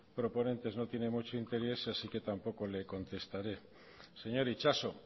proponentes no tiene mucho interés así que tampoco le contestaré señor itxaso